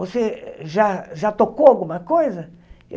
Você já já tocou alguma coisa?